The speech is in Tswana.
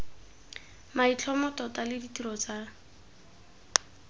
maitlhomo tota le ditiro tsa